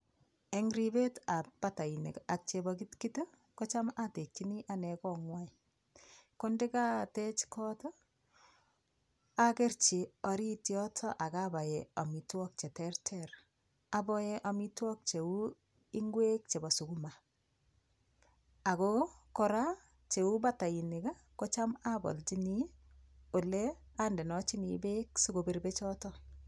Eng' ribetab batainik ak chebokitkit kocham atekchini ane kong'wai ko ndikatwch kot akerchi orit yoto akabae omitwok cheterter aboe omitwok cheu ng'wek chebo sukuma ako kora cheu batainik kocham abolchini ole andenochini beek sikobir bechoto